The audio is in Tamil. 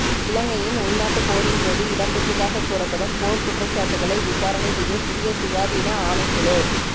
இலங்கையின் உள்நாட்டு போரின்போது இடம்பெற்றதாக கூறப்படும் போர்க்குற்றச்சாட்டுக்களை விசாரணை செய்ய புதிய சுயாதீன ஆணைக்குழு